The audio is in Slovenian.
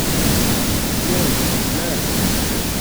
Joj, ne!